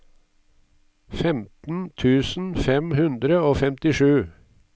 femten tusen fem hundre og femtisju